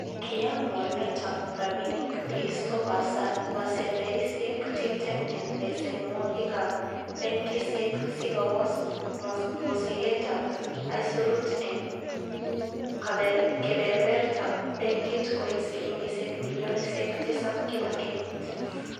Kiyaan mornetab rabinik keisto pasendeisiek tibtem en besenwogik ab benkisiek sikobos mosigetab aisurut en keberbertab benkit koit silingisiek bilionisiek tisap kila kenyit.